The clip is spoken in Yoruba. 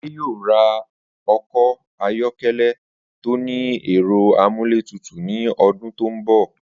Adé yóò ra o̩kò̩ ayó̩ké̩lé̩ tó ní è̩ro̩ amúlétutù ní o̩dún tó ń bò̩